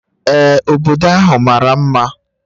Ee, obodo ahụ mara mma